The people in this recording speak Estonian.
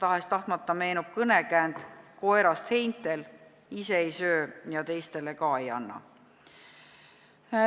Tahes-tahtmata meenub kõnekäänd koerast heintel: ise ei söö ja teistele ka ei anna.